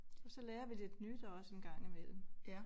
Og så lærer vi lidt nyt også en gang imellem